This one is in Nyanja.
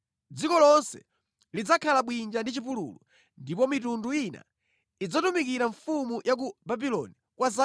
Dziko lonse lidzakhala bwinja ndi chipululu, ndipo mitundu ina idzatumikira mfumu ya ku Babuloni kwa 70.